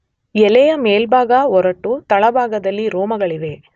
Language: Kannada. ಎಲೆಯ ಮೇಲ್ಭಾಗ ಒರಟು, ತಳಭಾಗದಲ್ಲಿ ರೋಮಗಳಿವೆ.